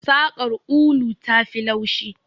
Saƙar ulu tafi laushi.